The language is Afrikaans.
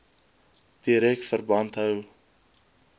direk verband hou